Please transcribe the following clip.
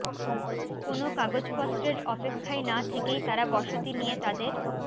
কোনো কাগজপত্রের অপেক্ষায় না থেকেই তারা বসতি নিয়ে তাদের